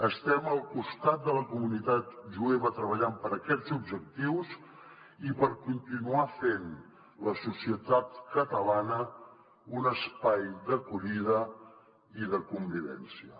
estem al costat de la comunitat jueva treballant per aquests objectius i per continuar fent la societat catalana un espai d’acollida i de convivència